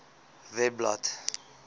webblad